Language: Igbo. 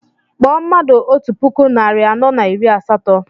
Kpọọ mmadụ otú puku narị anọ na iri asatọ!